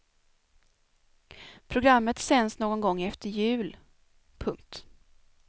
Programmet sänds någon gång efter jul. punkt